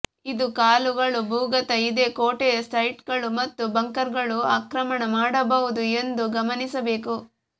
ಇದು ಕಾಳುಗಳು ಭೂಗತ ಇದೆ ಕೋಟೆಯ ಸೈಟ್ಗಳು ಮತ್ತು ಬಂಕರ್ಗಳು ಆಕ್ರಮಣ ಮಾಡಬಹುದು ಎಂದು ಗಮನಿಸಬೇಕು